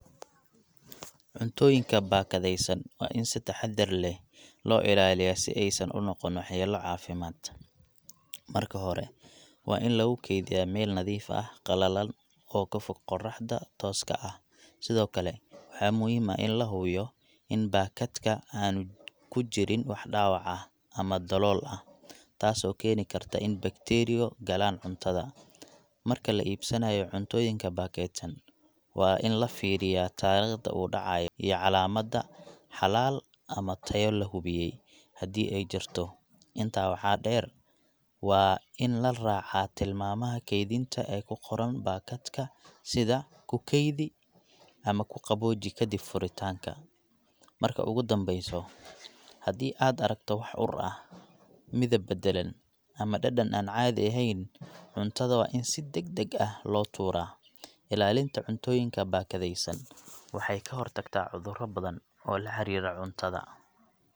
Cuntooyinka baakadeysan waa in si taxadar leh loo ilaaliyo, si aay san unoqonin wax yaalo cafimaad, marka hore waan lagu keediya meel nadiif ah, qalalan oo kafog qoraxda tooska ah, sido kale waxaa muhiim ah in lahubiyo in baakadka aan kujirin wax daawac ah ama dalool ah, taas oo keeni karto in[bacteria]galaan cuntada, Marka la iibsanaayo cuntooyinka baakeedsan waan in lafiiriyaa tariiqda uu dacaayo iyo calaamada xalaal ama tayo lahubiye hadii aay jirto, intaa waxaa deer waa in laraaca tilmaamaha keedinta oo kuqoran baakadka sida kukeedi ama kuqabooji kadib furitaanka, marka oo gu danbeyso, hadii aad aragto wax ur ah, midab badalan ama dadan aan caadi eheen, cuntada waa in si dagdag ah loo tuura, ilaalinta cuntooyinka baakadeysan waxaay kahor taktaa cuduro badan oo laxariiro cuntada.